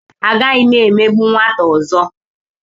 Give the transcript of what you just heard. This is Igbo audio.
Agaghị m emegbu nwata ọzọ.